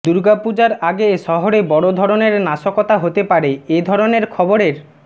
দুর্গা পুজার আগে শহরে বড় ধরনের নাশকতা হতে পারে এ ধরনের খবরের